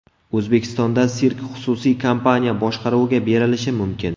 O‘zbekistonda sirk xususiy kompaniya boshqaruviga berilishi mumkin.